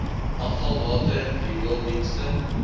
afvalwater riool dienste